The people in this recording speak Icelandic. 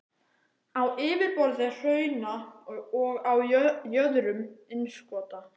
á yfirborði hrauna og á jöðrum innskota.